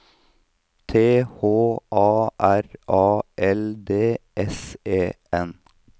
T H A R A L D S E N